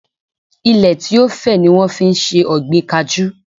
Ilẹ tí ó fẹ̀ ni wọ́n fi ń se ọ̀gbìn kajú.